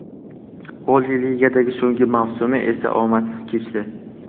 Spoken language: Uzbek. Oliy Ligadagi so‘nggi mavsumi esa omadsiz kechdi.